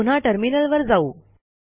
आता पुन्हा टर्मिनलवर जाऊ